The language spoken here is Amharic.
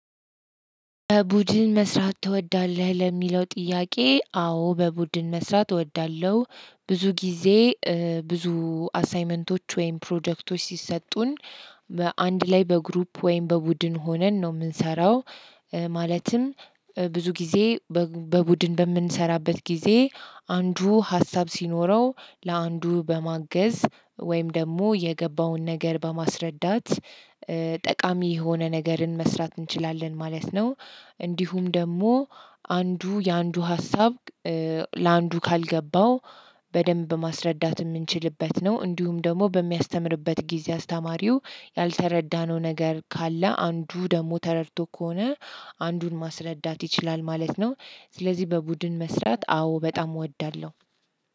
በቡድን መስራት ትወዳለህ? ለሚለው ጥያቄ አዎ! በቡድን መስራት እወዳለሁ። ብዙ ጊዜ ብዙ አሳይመንቶች ወይም ፕሮጀክቶች ሲሰጡን በአንድ ላይ በግሩፕ ወይም በቡድን ሆነን ነው የምንሰራው። ማለትም ብዙ ጊዜ በቡድን በምንሰራበት ጊዜ፤ አንዱ ሀሳብ ሲኖረው ለአንዱ በማገዝ ወይም ደግሞ የገባውን ነገር በማስረዳት ጠቃሚ የሆነ ነገርን መስራት እንችላለን ማለት ነው። እንዲሁም ደግሞ፣ አንዱ የአንዱ ሀሳብ ለአንዱ ካልገባው፤ በደንብ ማስረዳት የምንችልበት ነው። እንዲሁም ደግሞ በሚያስተምርበት ጊዜ አስተማሪው፤ ያልተረዳነው ነገር ካለ አንዱ ደግሞ ተረድቶ ከሆነ፤ አንዱን ማስረዳት ይችላል ማለት ነው። ስለዚህ በቡድን መስራት፣ አዎ በጣም እወዳለሁ።